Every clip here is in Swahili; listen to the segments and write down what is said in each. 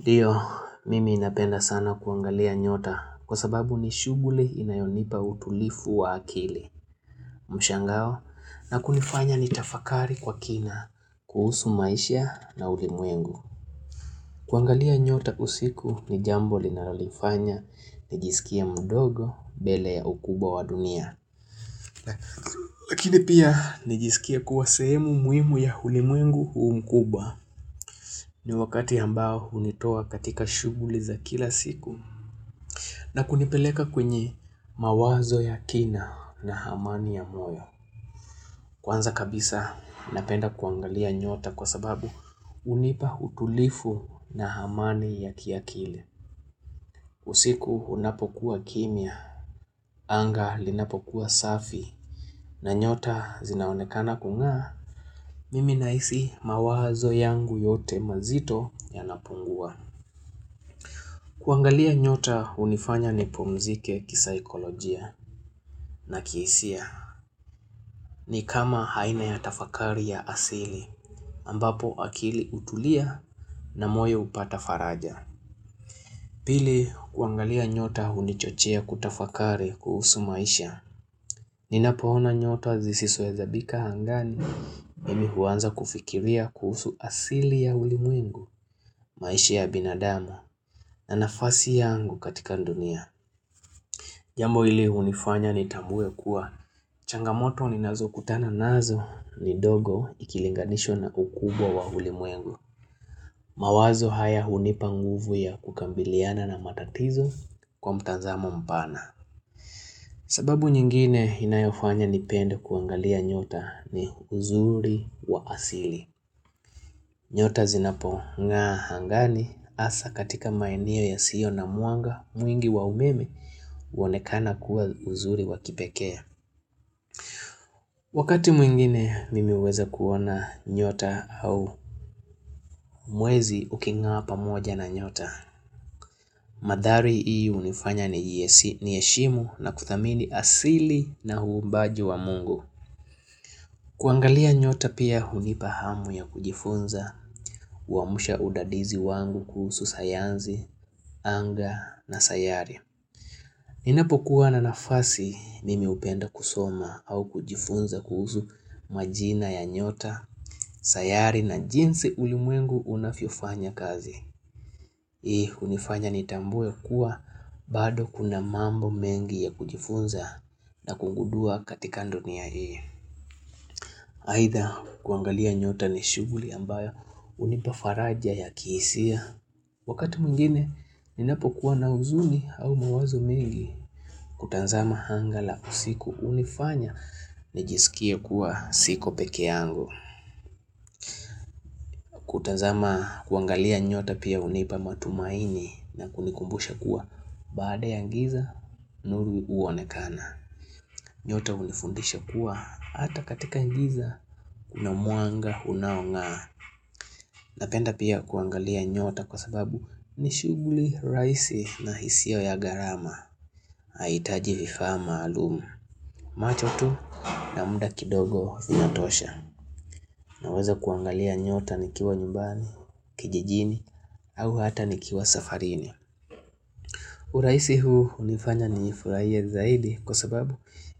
Ndiyo, mimi napenda sana kuangalia nyota kwa sababu ni shuguli inayonipa utulifu wa akili. Mshangao, na kunifanya nitafakari kwa kina, kuhusu maisha na ulimwengu. Kuangalia nyota usiku ni jambo linalolifanya, nijisikie mdogo bele ya ukubwa wa dunia. Lakini pia, nijisikie kuwa sehemu muhimu ya ulimwengu huumkubwa. Ni wakati ambao unitoa katika shuguli za kila siku. Na kunipeleka kwenye mawazo ya kina na hamani ya moyo. Kwanza kabisa napenda kuangalia nyota kwa sababu unipa utulifu na hamani ya kiakili. Usiku unapokuwa kimya, anga linapokuwa safi na nyota zinaonekana kung'aa, mimi nahisi mawazo yangu yote mazito yanapungua. Kuangalia nyota unifanya nipumzike kisaikolojia na kihisia. Ni kama aina ya tafakari ya asili, ambapo akili utulia na moyo upata faraja. Pili kuangalia nyota hunichochea kutafakari kuhusu maisha. Ninapoona nyota zisizohesabika angani, mimi huanza kufikiria kuhusu asili ya ulimwengu maisha ya binadamu na nafasi yangu katika ndunia. Jambo ili unifanya nitwmbue kuwa changamoto ninazokutana nazo ni dogo ikilinganisha na ukubwa wa ulimwengu. Mawazo haya unipa nguvu ya kukambiliana na matatizo kwa mtanzamo mpana. Sababu nyingine inayofanya nipende kuangalia nyota ni uzuri wa asili. Nyota zinapong'aa angani hasa katika maeneo yasio na mwanga mwingi wa umeme uonekana kuwa uzuri wa kipekee. Wakati mwingine mimi uweza kuona nyota au mwezi uking'aa pamoja na nyota. Madhari hii unifanya niheshimu na kuthamini asili na uumbaji wa Mungu. Kuangalia nyota pia hunipa hamu ya kujifunza uamusha udadizi wangu kuhusu sayanzi, anga na sayari. Ninapokuwa na nafasi mimi upenda kusoma au kujifunza kuhuzu majina ya nyota, sayari na jinsi ulimwengu unafyo fanya kazi. Hii, unifanya nitambue kuwa bado kuna mambo mengi ya kujifunza na kungudua katika ndunia hii Aidha kuangalia nyota ni shuguli ambayo unipafaraja ya kihisia Wakati mingine ninapo kuwa na huzuni au mawazo mengi Kutanzama anga la usiku unifanya Hii, unifanya nitambue kuwa bado kuna mambo mengi ya kujifunza na kungudua katika ndunia hii nyota unifundisha kuwa hata katika ngiza kuna mwanga unaong'aa Napenda pia kuangalia nyota kwa sababu Nishuguli rahisi na hisiyo ya garama Haitaji vifaa maalum. Macho tu na muda kidogo inatosha Naweza kuangalia nyota nikiwa nyumbani, kijijini au hata nikiwa safarini urahisi huu unifanya nifurahie zaidi kwasababu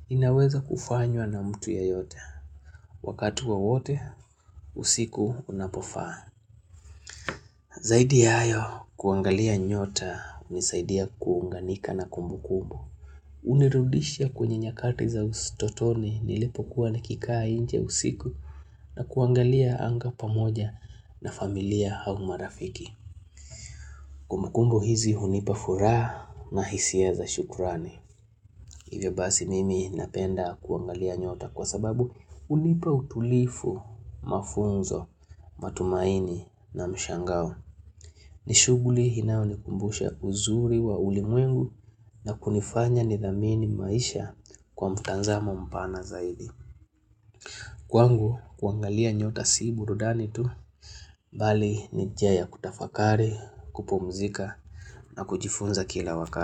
inaweza kufanywa na mtu yoyote Wakati wowote usiku unapofaa Zaidi ya hayo kuangalia nyota unisaidia kuunganika na kumbukumbu Unirudisha kwenye nyakati za utotoni nilipokuwa nikikaa nje usiku na kuangalia anga pamoja na familia au marafiki kumbukumbu hizi unipa furaha na hisia za shukrani. Hivyo basi mimi napenda kuangalia nyota kwasababu unipa utulifu, mafunzo, matumaini na mshangao ni shuguli inayonikumbusha uzuri wa ulimwengu na kunifanya nidhamini maisha kwa mtazamo mpana zaidi Kwangu kuangalia nyota si burudani tu, bali ni njia ya kutafakari, kupumzika na kujifunza kila wakati.